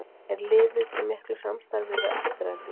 Er liðið í miklu samstarfi við Aftureldingu?